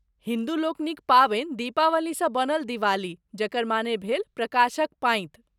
हिन्दूलोकनिक पाबनि दीपावलीसँ बनल दिवाली, जकर माने भेल "प्रकाशक पाँति"।